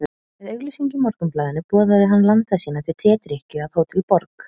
Með auglýsingu í Morgunblaðinu boðaði hann landa sína til tedrykkju að Hótel Borg.